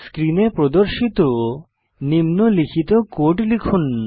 স্ক্রিনে প্রদর্শিত নিম্নলিখিত কোড লিখুন